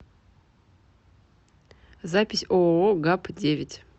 запись ооо гапп девять